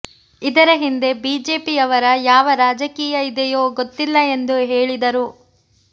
ಇದರ ಹಿಂದೆ ಬಿಜೆಪಿಯವರ ಯಾವ ರಾಜಕೀಯ ಇದಿಯೊ ಗೊತ್ತಿಲ್ಲ ಎಂದು ಹೇಳಿದರು